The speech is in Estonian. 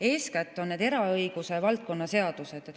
Eeskätt on need eraõiguse valdkonna seadused.